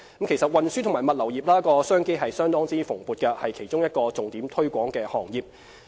其實，運輸及物流業商機相當蓬勃，是其中一個獲重點推廣的行業。